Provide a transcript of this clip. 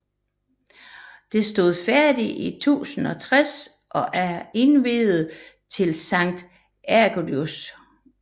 Det stod færdigt i 1060 og er indviet til Sankt Ægidius